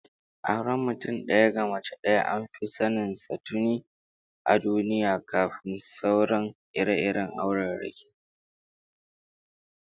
Auren mutum daya ga mace daya an fi sanin sa tuni a duniya kafin sauran ire-iren aurarraki